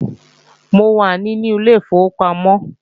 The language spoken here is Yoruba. Mo wà nínú ilé ìfowópamọ́